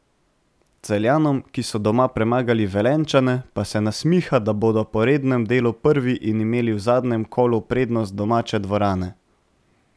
Celjanom, ki so doma premagali Velenjčane, pa se nasmiha, da bodo po rednem delu prvi in imeli v zadnjem kolu prednost domače dvorane.